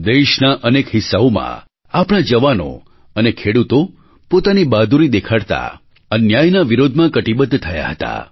દેશના અનેક હિસ્સાઓમાં આપણા જવાનો અને ખેડૂતો પોતાની બહાદૂરી દેખાડતા અન્યાયના વિરોધમાં કટિબદ્ધ થયા હતા